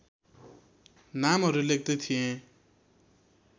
नामहरू लेख्दै थिएँ